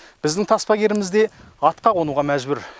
біздің таспагеріміз де атқа қонуға мәжбүр